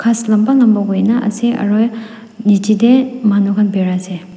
lamba lamba hoina ase aru niche te manukhan birai ase.